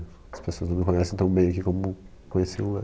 As pessoas não me conhecem tão bem aqui como conheciam lá.